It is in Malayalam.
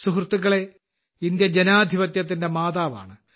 സുഹൃത്തുക്കളേ ഇന്ത്യ ജനാധിപത്യത്തിന്റെ മാതാവാണ്